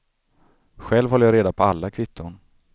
Själv håller jag reda på alla kvitton.